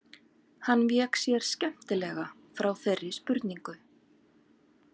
Hann vék sér skemmtilega frá þeirri spurningu.